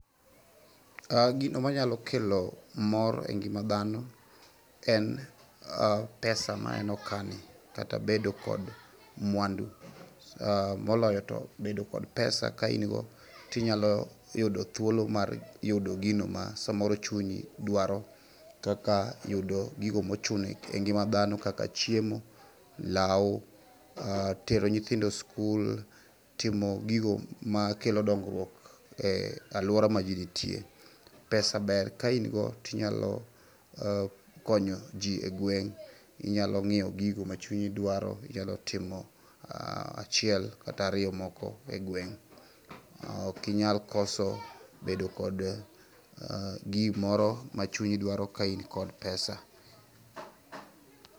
Gino manyalo kelo mor e ngima dhano en pesa maneno ka ni kata bedo kod mwandu moloyo to bedo kod pesa ka in go tinyalo yudo thuolo mar yudo gino ma samoro chunyi dwaro kaka yudo gigo mochuno e ngima dhano kaka chiemo law, tero nyithindo skul, timo gigo ma kelo dongruok e aluora ma jii nitie. pesa ber ka in go tinyalo konyo jii e gweng' , inyalo ng'iewo gigo ma chunyi dwaro, inyalo timo achiel kata ariyo moko e gweng'. Ok inyalo koso bedo kod gimoro ma chunyi dwaro ka in kod pesa.